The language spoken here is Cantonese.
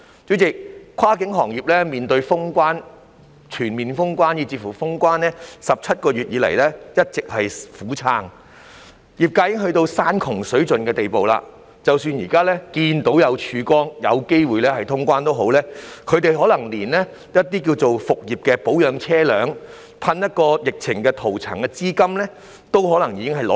主席，跨境運輸行業面對全面封關 ，17 個月以來一直苦撐，業界人士已經到了山窮水盡的地步，即使現時看到了曙光，有機會通關也好，他們可能連復業前保養車輛、噴防疫塗層的資金也拿不出來。